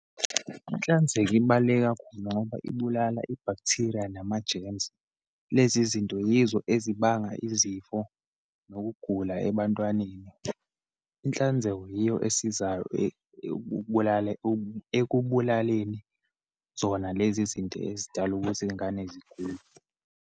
Inhlanzeko ibaluleke kakhulu ngoba ibulala i-bacteria, nama-germs. Lezi zinto yizo ezibanga izifo, nokugula ebantwaneni. Inhlanzeko yiyo esizayo ekubulaleni zona lezi zinto ezidala ukuthi iyingane zigule.